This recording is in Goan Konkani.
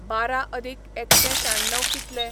बारा अदीक एकशें श्याण्णव कितले?